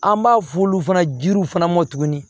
An b'a f'olu fana jiriw fana mɔ tuguni